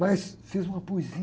Mas fiz uma poesia.